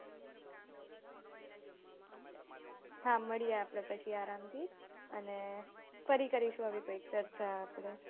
હા મળીએ આપડે પછી આરામથી અને ફરી કરીશું આવી કોઈક ચર્ચા આપણે